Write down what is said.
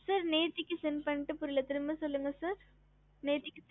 sir நேத்திக்கு sent பண்ணிட்டு புரியல sir திரும்ப சொல்லுங்க